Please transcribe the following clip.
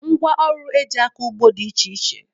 Ngwaọrụ e ji akọ ugbo dị iche iche